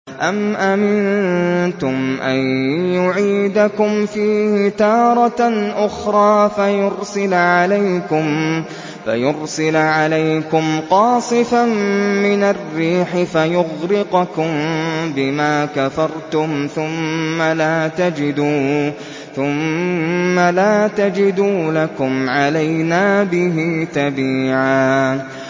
أَمْ أَمِنتُمْ أَن يُعِيدَكُمْ فِيهِ تَارَةً أُخْرَىٰ فَيُرْسِلَ عَلَيْكُمْ قَاصِفًا مِّنَ الرِّيحِ فَيُغْرِقَكُم بِمَا كَفَرْتُمْ ۙ ثُمَّ لَا تَجِدُوا لَكُمْ عَلَيْنَا بِهِ تَبِيعًا